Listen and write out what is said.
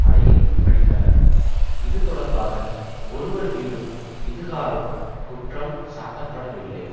அலையில் மடிந்தனர் இது தொடர்பாக ஒருவர்மீதும் இதுகாறும் குற்றம் சாட்டப்படவில்லை